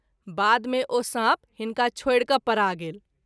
बाद मे ओ साँप हिनका छोड़ि क’ परा गेल।